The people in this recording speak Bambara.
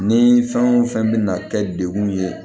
Ni fɛn o fɛn bɛna kɛ degun ye